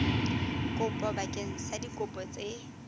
kopo bakeng sa dikopo tse